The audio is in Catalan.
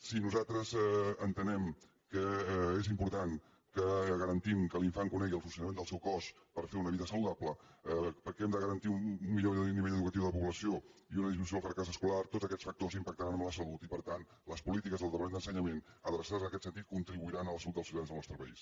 si nosaltres entenem que és important que garan·tim que l’infant conegui el funcionament del seu cos per fer una vida saludable perquè hem de garantir un millor nivell educatiu de la població i una disminu·ció del fracàs escolar tots aquests factors impactaran en la salut i per tant les polítiques del departament d’ensenyament adreçades en aquest sentit contribui·ran a la salut dels ciutadans del nostre país